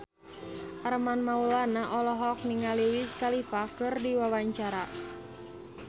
Armand Maulana olohok ningali Wiz Khalifa keur diwawancara